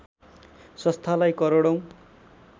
संस्थालाई करोडौँ